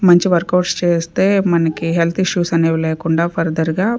మంచి వర్కౌట్స్ చేస్తే మనకి హెల్త్ ఇష్యూస్ అనేవి లేకుండా ఫర్దర్ గా .